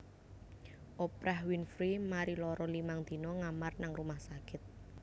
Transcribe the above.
Oprah Winfrey mari lara limang dina ngamar nang rumah sakit